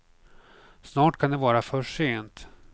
Snart kan det vara för sent.